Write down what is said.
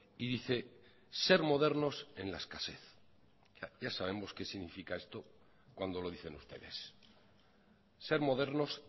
y dice ser modernos en la escasez ya sabemos qué significa esto cuando lo dicen ustedes ser modernos